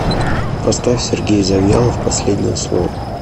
поставь сергей завьялов последнее слово